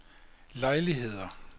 lejligheder